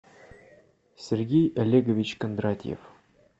сергей олегович кондратьев